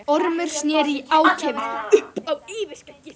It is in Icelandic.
Ormur sneri í ákefð upp á yfirskeggið.